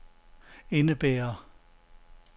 indebærer